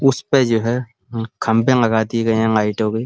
उस पे जो हैं खम्बे लगा दिए गए हैं लाइटो के।